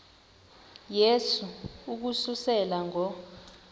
yehu ukususela ngo